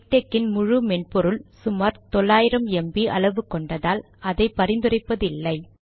MiKTeX இன் முழு மென்பொருள் சுமார் 900 ம்ப் அளவு கொண்டால் அதை பரிந்துரைப்பது இல்லை